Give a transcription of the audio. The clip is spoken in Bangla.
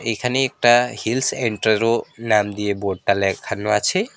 এখানে একটা হিলস এন্ট্রো নাম দিয়ে বোর্ডটা লেখানো আছে।